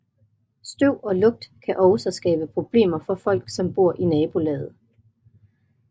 Støv og lugt kan også skabe problemer for folk som bor i nabolaget